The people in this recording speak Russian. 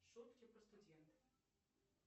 шутки про студентов